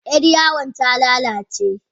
Yar yawon ta lalace.